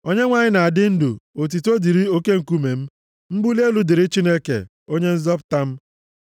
Onyenwe anyị na-adị ndụ! Otuto dịrị oke nkume m! Mbuli elu dịrị Chineke, Onye nzọpụta m.